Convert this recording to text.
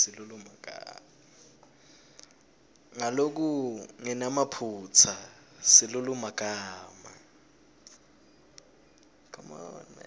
ngalokungenamaphutsa silulumagama